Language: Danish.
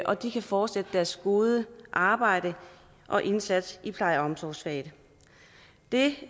og de kan fortsætte deres gode arbejde og indsats i pleje og omsorgsfaget det